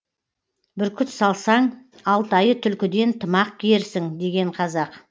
бүркіт салсаң алтайы түлкіден тымақ киерсің деген қазақ